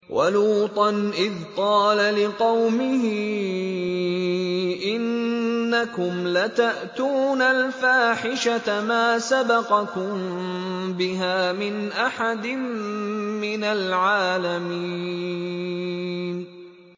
وَلُوطًا إِذْ قَالَ لِقَوْمِهِ إِنَّكُمْ لَتَأْتُونَ الْفَاحِشَةَ مَا سَبَقَكُم بِهَا مِنْ أَحَدٍ مِّنَ الْعَالَمِينَ